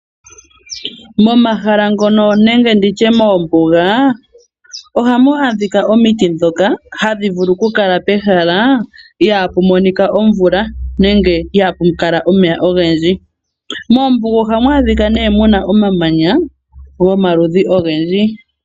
Momahala ngono nenge moombuga ohamu adhika omiti ndhoka hadhi vulu okukala pehala ihaapu monika omvula nenge ihaapu kala omeya ogendji. Moombuga ohamu adhika muna omamanya gomaludhi ogendji.